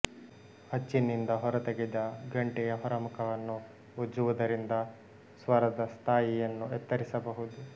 ಅಚ್ಚಿನಿಂದ ಹೊರತೆಗೆದ ಗಂಟೆಯ ಹೊರಮುಖವನ್ನು ಉಜ್ಜುವುದರಿಂದ ಸ್ವರದ ಸ್ಥಾಯಿಯನ್ನು ಎತ್ತರಿಸಬಹುದು